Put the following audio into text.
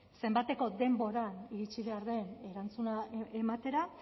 zenbateko denbora iritsi behar den erantzuna ematera